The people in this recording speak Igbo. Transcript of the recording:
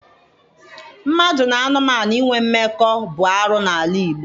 Mmadụ na anụmanụ inwe mmekọ bụ arụ n'ala Igbo.